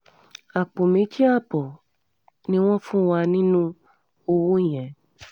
àpò méjì ààbọ̀ ni wọ́n fún wa wa nínú owó yẹn